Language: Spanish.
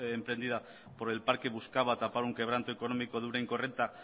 emprendida por el parque buscaba tapar un quebranto económico de una incorrecta